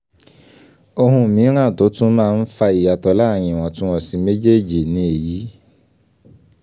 ohun mìíràn tó tún máa n fa ìyàtọ̀ láàrín ìwọ̀túnwọ̀sì méjèèjì ni èyí